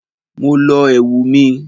Mo lọ ẹ̀wù mi.